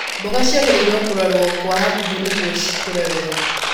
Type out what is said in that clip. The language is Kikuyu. Mboga ciagĩrĩirwo kũrorwo kwa hakuhĩ nĩguo cikũre wega.